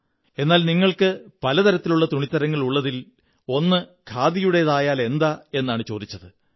എന്നാൽ നിങ്ങള്ക്ക്ബ പല തരത്തിലുള്ള തുണിത്തരങ്ങളുള്ളതിൽ ഒന്ന് ഖാദിയുടേതായാലെന്താ എന്നാണു ചോദിച്ചത്